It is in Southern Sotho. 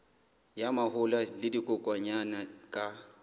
ya mahola le dikokwanyana ka